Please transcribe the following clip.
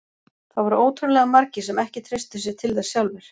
Það voru ótrúlega margir sem ekki treystu sér til þess sjálfir.